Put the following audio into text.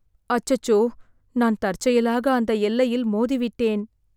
அச்சச்சோ, நான் தற்செயலாக அந்த எல்லையில் மோதிவிட்டேன்.